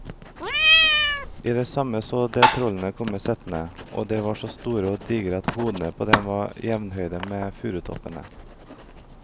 I det samme så de trollene komme settende, og de var så store og digre at hodene på dem var jevnhøye med furutoppene.